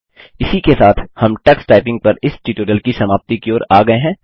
इसी के साथ हम टक्स टाइपिंग पर इस ट्यूटोरियल की समाप्ति की ओर आ गये हैं